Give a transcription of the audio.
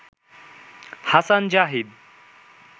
Hasan Zahid